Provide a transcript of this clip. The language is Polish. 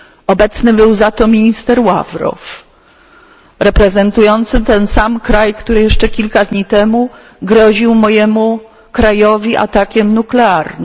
Obecny był za to minister Ławrow, reprezentujący ten sam kraj, który jeszcze kilka dni temu groził mojemu krajowi atakiem nuklearnym.